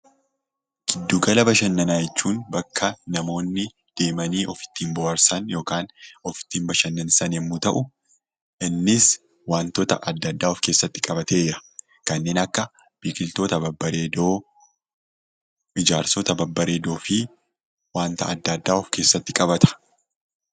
Giddugala bashannanaa jechuun bakka namoonni deemuun itti of bohaarsan yookaan of ittiin bashannansiisan yemmuu ta'u, innis wantoota adda addaa of keessatti qabateera. Kanneen akka biqiltoota babbareedoo, ijaarsota babbareedoofi wanta adda addaa ofkeessatti qabata.